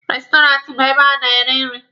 Restọraantị bụ ebe a na-eri nri.